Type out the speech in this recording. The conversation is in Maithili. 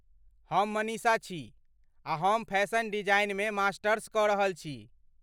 हम मनीषा छी आ हम फैशन डिजाइनमे मास्टर्स कऽ रहल छी।